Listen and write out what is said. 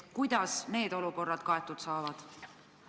Kuidas need olukorrad kaetud saavad?